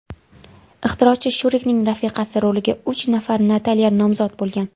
Ixtirochi Shurikning rafiqasi roliga uch nafar Natalya nomzod bo‘lgan.